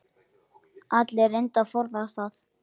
Allir reyndu að forðast það.